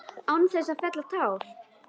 Án þess að fella tár.